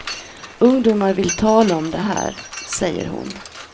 Ungdomar vill tala om det här, säger hon.